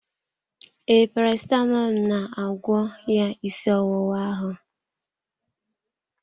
Ee, parasitamọl na-agwọ ya ịsị ọwụwa ahụ